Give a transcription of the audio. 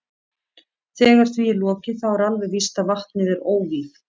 Þegar því er lokið þá er alveg víst að vatnið er óvígt.